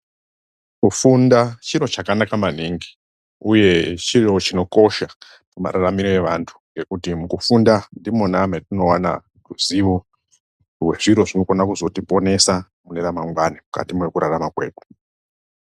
Kufunda chiro chakanaka maningi uye chiro chinokosha, pamararamiro evantu ngekuti mukufunda ndimo matinoona ruzivo nezviro zvinogona kuzoyoponesa mune remangwana mukati mekururama.